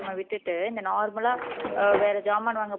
விட்டுட்டு இந்த normal ஆ வேற ஜாமான் வாங்குற